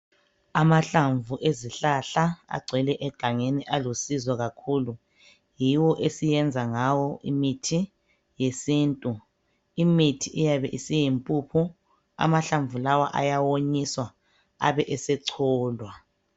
Amahlamvu ezihlahla agcwele egangeni alusizo kakhulu yiwo esiyenza ngawo imithi yesintu. Imithi iyabe isiyimpuphu. Amahlamvu lawa ayawonyiswa Abe esecholwa.